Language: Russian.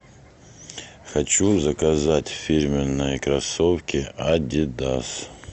хочу заказать фирменные кроссовки адидас